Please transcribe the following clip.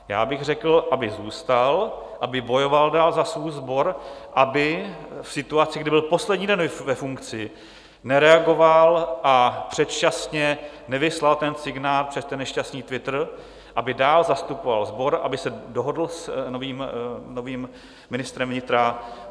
Já bych řekl, aby zůstal, aby bojoval dál za svůj sbor, aby v situaci, kdy byl poslední den ve funkci, nereagoval a předčasně nevyslal ten signál přes ten nešťastný Twitter, aby dál zastupoval sbor, aby se dohodl s novým ministrem vnitra.